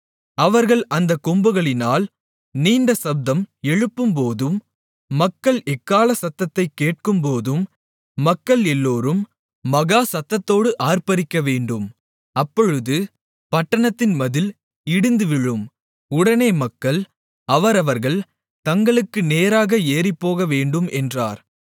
அவர்கள் அந்தக் கொம்புகளினால் நீண்ட சப்தம் எழுப்பும்போதும் நீங்கள் எக்காள சத்தத்தைக் கேட்கும்போதும் மக்கள் எல்லோரும் மகா சத்தத்தோடு ஆர்ப்பரிக்கவேண்டும் அப்பொழுது பட்டணத்தின் மதில் இடிந்துவிழும் உடனே மக்கள் அவரவர்கள் தங்களுக்கு நேராக ஏறிப்போகவேண்டும் என்றார்